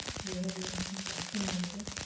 বুঝাতে পারছি না হয়তো।